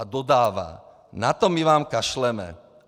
A dodává: Na to my vám kašleme.